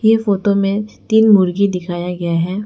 ये फोटो में तीन मुर्गी दिखाया गया है।